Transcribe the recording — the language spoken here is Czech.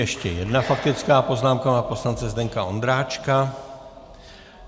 Ještě jedna faktická poznámka pana poslance Zdeňka Ondráčka.